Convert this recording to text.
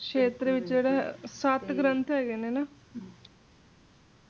ਖੇਤਰ ਵਿਚ ਸਤਿ ਗ੍ਰੰਥ ਹੈਗੇ ਨੇ ਨਾ